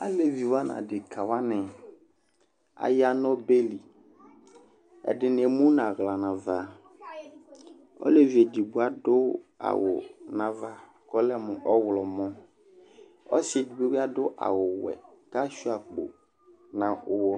Aliviwʋa nu adeka wʋani, aya nu ɔbɛli, ɛdini emu nu aɣla nu ava, olevi edigbo adu awu nu ava ku ɔlɛmu ɔwlɔmɔ, ɔsi edigbo bi adu awu wɛ ku asʋia akpo nu uwɔ